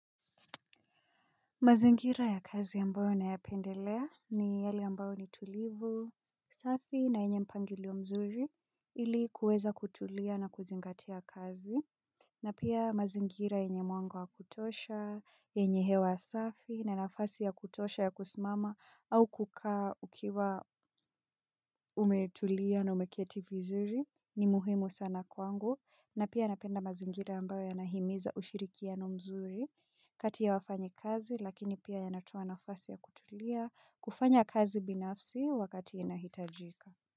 Mazingira ya kazi ambayo nayapendelea ni yali ambayo ni tulivu, safi na yenye mpangilio mzuri ili kuweza kutulia na kuzingatia kazi. Na pia mazingira yenye mwanga wa kutosha, yenye hewa safi na nafasi ya kutosha ya kusimama au kukaa ukiwa umetulia na umeketi vizuri ni muhimu sana kwangu. Na pia napenda mazingira ambayo yanahimiza ushirikiano mzuri kati ya wafanyakazi lakini pia yanatoa mazingira ya kutulia kufanya kazi binafsi wakati unahitajika.